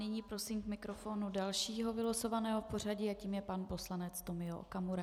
Nyní prosím k mikrofonu dalšího vylosovaného v pořadí a tím je pan poslanec Tomio Okamura.